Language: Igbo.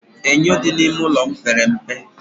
Enyo dị n'ime ụlọ m pere mpe